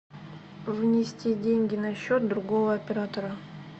внести деньги на счет другого оператора